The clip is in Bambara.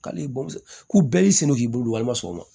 K'ale bɛɛ y'i sen don k'i bolo walima sɔgɔma